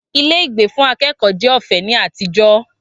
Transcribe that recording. Ilé ìgbé fún akẹ́kọ̀ọ́ jẹ́ ọ̀fẹ́ ní àtijọ́